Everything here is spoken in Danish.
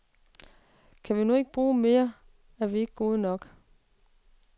Kan vi nu ikke bruges mere, er vi ikke gode nok.